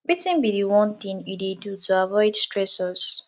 wetin be di one thing you dey do to avoid stressors